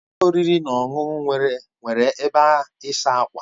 Ụlọ oriri na ọṅụṅụ nwere ebe ịsa ákwà.